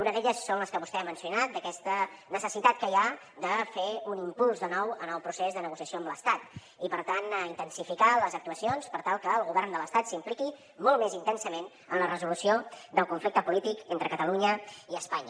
una d’elles són les que vostè ha mencionat d’aquesta necessitat que hi ha de fer un impuls de nou en el procés de negociació amb l’estat i per tant intensificar les actuacions per tal que el govern de l’estat s’impliqui molt més intensament en la resolució del conflicte polític entre catalunya i espanya